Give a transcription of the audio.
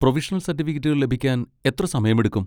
Provisional സർട്ടിഫിക്കറ്റുകൾ ലഭിക്കാൻ എത്ര സമയമെടുക്കും?